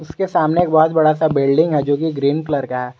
इसके सामने एक बहोत बड़ा सा बिल्डिंग है जो कि ग्रीन कलर का है।